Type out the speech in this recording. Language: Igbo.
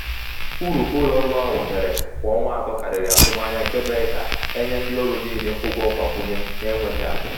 uru ụlọ ọrụ ahụ nwetara kwa ọnwa atọ karịrị atụmanya nke mere ka a a nye ndị ọrụ niile ụgwọ mgbakwunye n’enweghị atụ.